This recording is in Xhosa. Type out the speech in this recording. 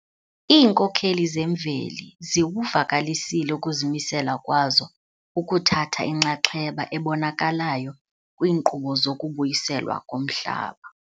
Iinkokheli zemveli ziwuvakalisile ukuzimisela kwazo ukuthatha inxaxheba ebonakalayo kwiinkqubo zokubuyiselwa komhlaba.